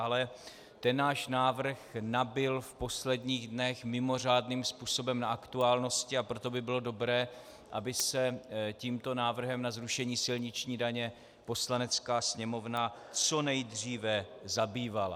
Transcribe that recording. Ale ten náš návrh nabyl v posledních dnech mimořádným způsobem na aktuálnosti, a proto by bylo dobré, aby se tímto návrhem na zrušení silniční daně Poslanecká sněmovna co nejdříve zabývala.